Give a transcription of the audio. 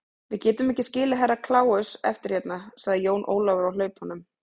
Við getum ekki skilið Herra Kláus eftir hérna, sagði Jón Ólafur á hlaupunum.